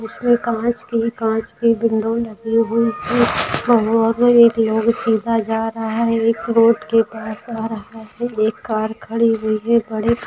उसमे कांच के कांच के विंडो लगी हुई है भगवा सीधा जा रहा है एक रोड के पास आ रहा है एक कार खड़ी हुई है।